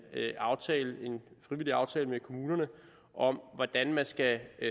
aftale en frivillig aftale med kommunerne om hvordan man skal